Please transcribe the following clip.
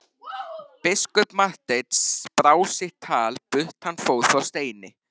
Biskup Marteinn brá sitt tal burt hann fór frá steini.